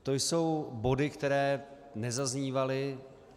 To jsou body, které nezaznívaly.